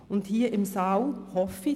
Darin sind wir uns wohl auch einig.